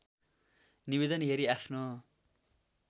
निवेदन हेरी आफ्नो